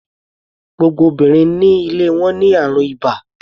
Gbogbo obìnrin ní ilé wọn ní àrùn ibà.